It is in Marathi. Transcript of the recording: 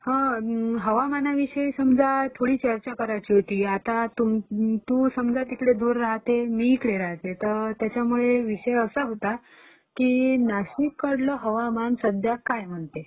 हं, हवामानाविषयी समजा थोडी चर्चा करायची होती. आता तू समजत इकडे दूर राहते, मी इकडे राहते. त त्याच्यामुळे विषय असा होता, की नाशिक कडलं हवामान सध्या काय म्हणते?